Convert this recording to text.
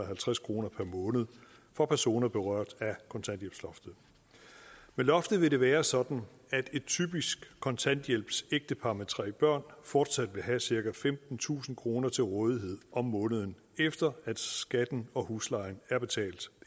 halvtreds kroner per måned for personer berørt af kontanthjælpsloftet med loftet vil det være sådan at et typisk kontanthjælpsægtepar med tre børn fortsat vil have cirka femtentusind kroner til rådighed om måneden efter at skatten og huslejen er betalt